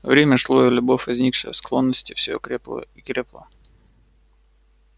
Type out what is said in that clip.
время шло и любовь возникшая из склонности всё крепла и крепла